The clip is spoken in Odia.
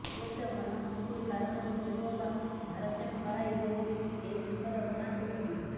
ହୁଏତ ଘନ କୁହୁଡି କାରଣରୁ ହେଉ ଅବା ଭାରସାମ୍ୟ ହରାଇ ହେଉ ଏହି ଦୁଃଖଦ ଘଟଣାଟି ଘଟିଛି